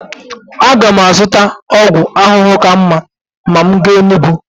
Aga m azụta ọgwụ ahụhụ ka mma ma m gaa Enugwu.